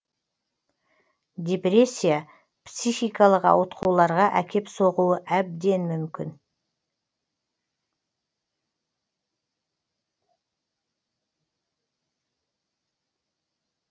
депрессия психикалық ауытқуларға әкеп соғуы әбден мүмкін